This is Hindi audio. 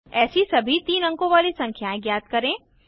ऐसी सभी तीन अंकों वाली संख्याएं ज्ञात करें